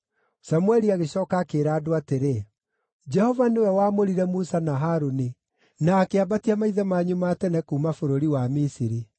Samũeli agĩcooka akĩĩra andũ atĩrĩ, “Jehova nĩwe waamũrire Musa na Harũni, na akĩambatia maithe manyu ma tene kuuma bũrũri wa Misiri.